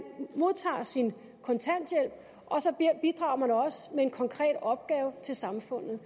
modtager sin kontanthjælp og så bidrager man også med en konkret opgave til samfundet